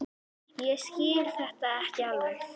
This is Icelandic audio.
Ég skil þetta ekki alveg.